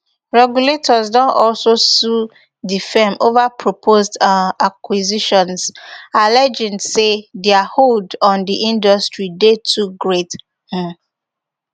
regulators don also sue di firm ova proposed um acquisitions alleging say dia hold on di industry dey too great um